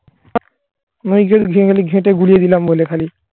ঘেঁটে গুঁড়িয়ে দিলাম বলে খালি